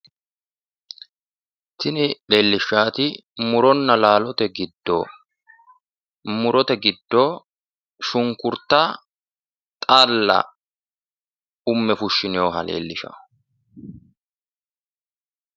Tini leellishshaati muronna laalote giddo murote giddoye shunkurta xaalla umme fushshinoonnita leellishshanno.